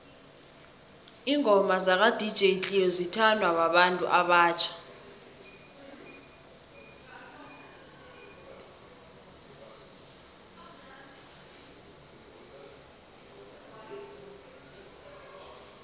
ingoma zaka dj cleo zithanwa babantu abatjha